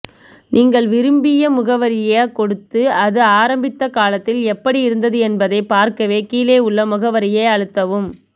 நீங்கள் விரும்பிய முகவரியக் கொடுத்து அது ஆரம்பித்த காலத்தில் எப்படி இருந்தது என்பதைப் பார்க்க கீழே உள்ள முகவரியை அழுத்தவும்